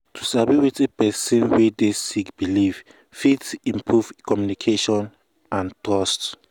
to sabi wetin person wey dey sick believe fit improve communication and trust.